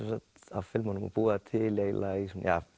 af filmunum og búa þær til eiginlega í